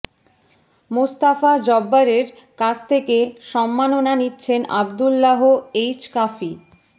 মোস্তাফা জব্বারের কাছ থেকে সম্মাননা নিচ্ছেন আব্দুল্লাহ এইচ কাফি